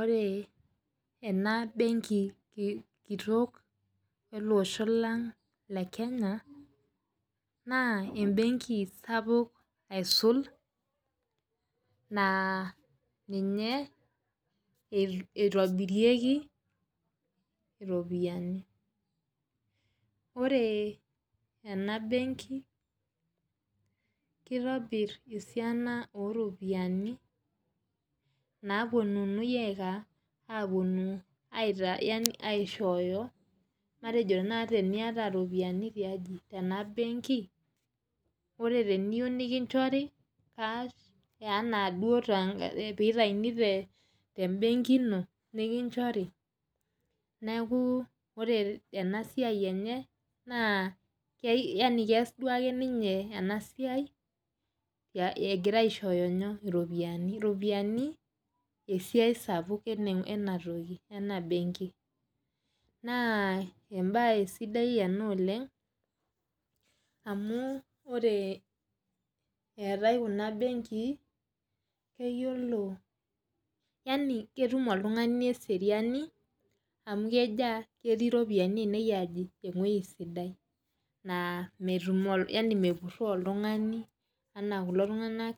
Ore enabenki kitok ele osho lang kitok le kenya na embenki sapuk aisulbna ninye itobirieki iropiyiani ore enabenki kitobir esiana oropiyiani na ninye eponu aishooyo matejo teniata esiaina oropiyiani tiaji tenabenki ore piyieu nitauni tembenki ino nikichori neaku ore enasia enyebna keas duake ninye enasiai egirai aishooyo ropiyani tesiai sapukbenabenki na embae sidai ena oleng amu ore eetae kunabnenkii na ketum oltungani eseriani amu ketii ropiyani enye ewoi sidai na mepuroo oltungani ama kulo tunganak